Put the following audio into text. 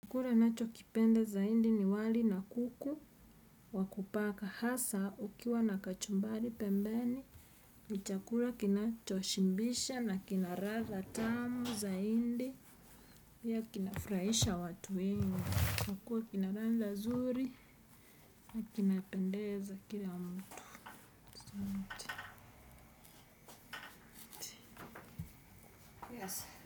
Chakula nachokipenda zaidi ni wali na kuku wa kupaka asa ukiwa na kachumbari pembeni ni chakura kinacho shimbisha na kinaradha tamu zaindi pia kinafraisha watu wengi kuwa kina latha nzuri na kinapendeza kila mtu asanti.